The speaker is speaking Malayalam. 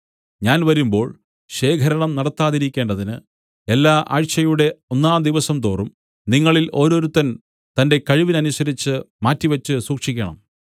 ഞാൻ വരുമ്പോൾ ശേഖരണം നടത്താതിരിക്കേണ്ടതിന് എല്ലാ ആഴ്ചയുടെ ഒന്നാം ദിവസംതോറും നിങ്ങളിൽ ഓരോരുത്തൻ തന്റെ കഴിവിനനുസരിച്ച് മാറ്റി വച്ചു സൂക്ഷിക്കണം